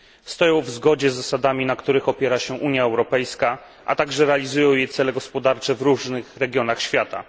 Stoją w zgodzie z zasadami, na których opiera się Unia Europejska, a także realizują jej cele gospodarcze w różnych regionach świata.